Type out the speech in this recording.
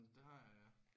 Det har jeg ja